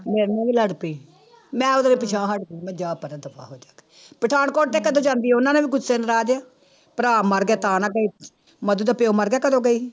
ਮੇਰੇ ਨਾਲ ਲੜ ਪਈ, ਮੈਂ ਉਦੋਂ ਹੀ ਪਿਛਾਂਹ ਹਟ ਪਈ ਮੈਂ ਜਾ ਪਰਾਂ ਦਫ਼ਾ ਹੋ ਜਾ ਕੇ, ਪਠਾਨਕੋਟ ਤੇ ਕਦੋਂ ਜਾਂਦੀ ਉਹਨਾਂ ਨੇ ਵੀ ਗੁੱਸੇ ਨਾਰਾਜ਼, ਭਰਾ ਮਰ ਗਿਆ ਤਾਂ ਨਾ ਗਈ, ਮਧੂ ਦਾ ਪਿਓ ਮਰ ਗਿਆ ਕਦੋਂ ਗਈ